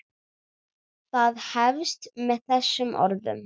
Það hefst með þessum orðum